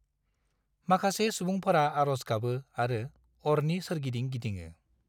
माखासे सुबुंफोरा आर'ज गाबो आरो अरनि सोरगिदिं गिदिङो।